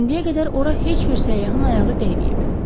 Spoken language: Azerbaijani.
İndiyə qədər ora heç bir səyyahın ayağı dəyməyib.